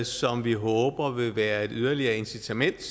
som vi håber vil være et yderligere incitament